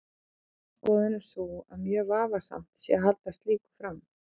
Mín skoðun er sú að mjög vafasamt sé að halda slíku fram.